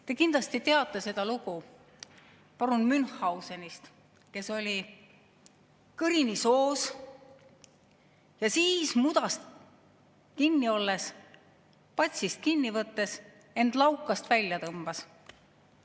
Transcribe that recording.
Te kindlasti teate lugu parun Münchhausenist, kes oli kõrini soos ja mudas kinni, ja siis patsist kinni võttes end laukast välja tõmbas.